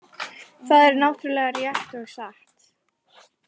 Það er náttúrlega rétt og satt